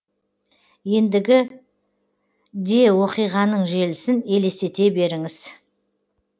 ендігі де оқиғаның желісін елестете беріңіз